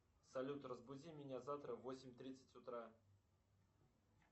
салют разбуди меня завтра в восемь тридцать утра